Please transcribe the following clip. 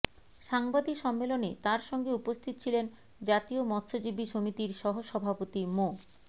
সাংবাদিক সম্মেলনে তাঁর সঙ্গে উপস্থিত ছিলেন জাতীয় মৎস্যজীবী সমিতির সহ সভাপতি মো